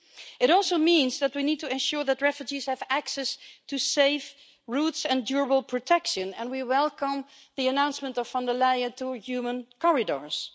It also means that we need to ensure that refugees have access to safe routes and durable protection and we welcome the announcement from Ms von der Leyen on human corridors.